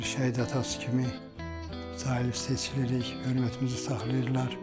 Şəhid atası kimi daim seçilirik, hörmətimizi saxlayırlar.